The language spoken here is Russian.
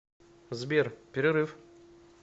сбер перерыв